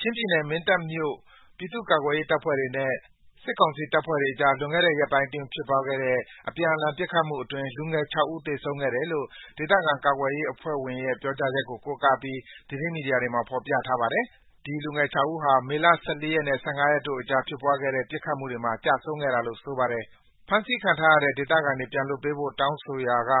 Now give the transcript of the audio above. ချင်းပြည်နယ်၊ မင်းတပ်မြို့ ပြည်သူ့ကာကွယ်ရေးအဖွဲ့ဝင်တွေနဲ့ စစ်ကောင်စီ တပ်ဖွဲ့တွေအကြား လွန်ခဲ့တဲ့ ရက်ပိုင်းအတွင်း ဖြစ်ပွားခဲ့တဲ့ အပြန်အလှန် ပစ်ခတ်မှုတွေအတွင်း လူငယ် ၆ ဦး သေဆုံးခဲ့တယ်လို့ ဒေသခံ ကာကွယ်ရေးအဖွဲ့ဝင်ရဲ့ ပြောကြားချက်ကို ကိုးကားပြီး သတင်းမီဒီယာတွေမှာ ဖော်ပြထားပါတယ်။ ဒီလူငယ် ၆ ဦးဟာ မေလ ၁၄ ရက်နဲ့ ၁၅ ရက်အတွင်း ဖြစ်ပွားခဲ့တဲ့ ပစ်ခတ်မှုတွေမှာ ကျဆုံးခဲ့တာလို့ ဆိုပါတယ်။ ဖမ်းဆီးထားတဲ့ ဒေသခံတွေ ပြန်လွှတ်ပေးဖို့ တောင်းဆိုရာက